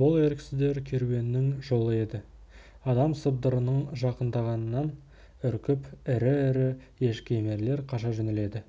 бұл еріксіздер керуенінің жолы еді адам сыбдырының жақындағанынан үркіп ірі-ірі ешкі емерлер қаша жөнеледі